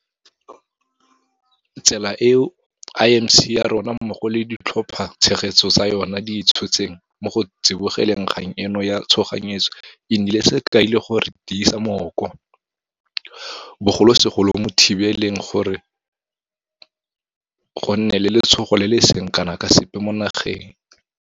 Tsela eo IMC ya rona mmogo le ditlhophatshegetso tsa yona di e tshotseng mo go tsibogeleng kgang eno ya tshoganyetso e nnile sekai le go re tiisa mmooko, bogolosegolo mo go thibeleng gore go nne le letshogo le le seng kana ka sepe mo nageng.